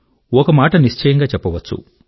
ఒకమాట నిశ్చయంగా చెప్పవచ్చు